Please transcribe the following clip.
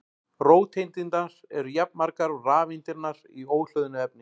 Róteindirnar eru jafnmargar og rafeindirnar í óhlöðnu efni.